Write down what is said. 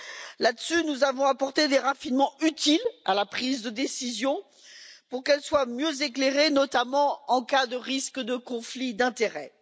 Sur ce point, nous avons apporté des améliorations utiles à la prise de décision pour qu'elle soit mieux éclairée, notamment en cas de risque de conflit d'intérêts.